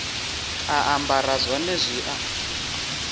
a ambara zwone zwi a